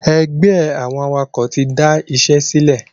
Ẹgbẹ́ àwọn awakọ̀ tí da ìṣẹ́ sílẹ̀